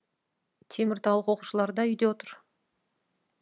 теміртаулық оқушылар да үйде отыр